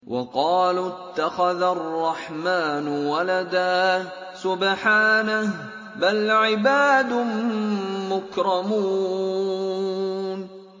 وَقَالُوا اتَّخَذَ الرَّحْمَٰنُ وَلَدًا ۗ سُبْحَانَهُ ۚ بَلْ عِبَادٌ مُّكْرَمُونَ